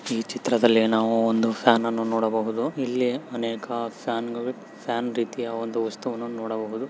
ಈ ಚಿತ್ರದಲ್ಲಿ ನಾವು ಒಂದು ಫ್ಯಾನ್ ಅನ್ನು ನೋಡಬಹುದು ಹಾಗೂ ಅನೇಕ ಫ್ಯಾನ್ ರೀತಿಯ ಫ್ಯಾನ್ ರೀತಿಯ ಒಂದು ವಸ್ತುವನ್ನು ನೋಡಬಹುದು.